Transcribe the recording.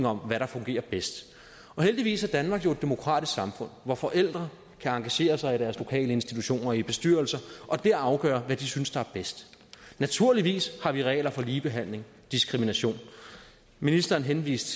om hvad der fungerer bedst heldigvis er danmark jo et demokratisk samfund hvor forældre kan engagere sig i deres lokale institutioner og i bestyrelser og der afgøre hvad de synes er bedst naturligvis har vi regler for ligebehandling og diskrimination ministeren henviste